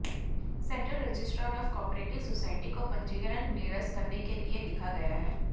central registrar of cooperative society को पंजीकरण निरस्त करने के लिए लिखा गया है